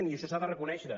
i això s’ha de reconèixer